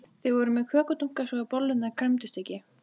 Þau voru með kökudunka svo bollurnar kremdust ekki.